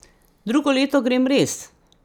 Drugo leto grem res!